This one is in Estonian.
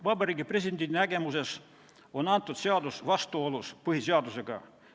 Vabariigi Presidendi nägemuses on seadus vastuolus põhiseadusega.